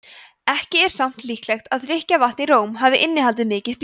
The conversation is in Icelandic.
ekki er samt líklegt að drykkjarvatn í róm hafi innihaldið mikið blý